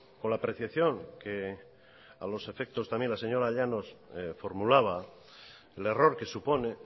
con la apreciación que a los efectos también la señora llanos formulaba el error que supone